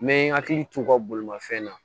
N bɛ n hakili t'u ka bolomafɛn na